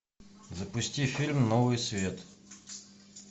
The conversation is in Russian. запусти фильм новый свет